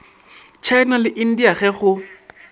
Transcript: tšhaena le india ge go